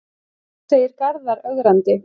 segir Garðar ögrandi.